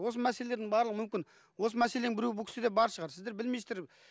осы мәселелердің барлығы мүмкін осы мәселенің біреуі бұл кісіде бар шығар сіздер білмейсіздер